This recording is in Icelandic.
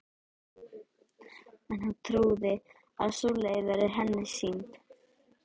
En hún trúir að sú leið verði henni sýnd.